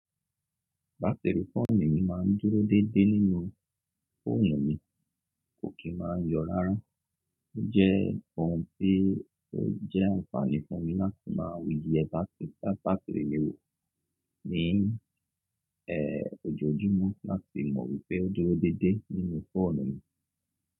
Batiri fóònù mi máa ń dúró dédé nínú fóònù mi, kò kí máa ń yọ̀ rárá. Ó jẹ́ ohun tí ó jẹ́ àǹfààní fún mi láti máa ye batiri mi wo ní, ẹ́, ojoojúmọ́ láti mọ̀ wípé ó dúró dédé nínú fóònù mi.